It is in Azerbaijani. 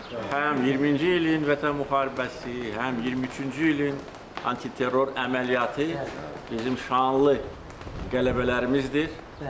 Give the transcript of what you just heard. Həm 2020-ci ilin Vətən müharibəsi, həm 2023-cü ilin antiterror əməliyyatı bizim şanlı qələbələrimizdir.